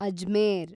Ajmer